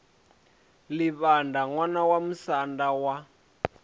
livhaṋda ṋwana wa musanda wa